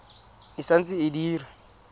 e sa ntse e dira